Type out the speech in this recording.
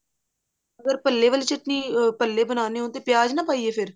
ਅਗਰ ਭੱਲੇ ਵਾਲੀ ਚਟਨੀ ਭੱਲੇ ਬਣਾਉਣੇ ਹੋਣ ਤੇ ਪਿਆਜ ਨਾ ਪਾਈਏ ਫ਼ੇਰ